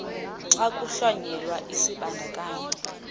xa kuhlonyelwa isibandakanyi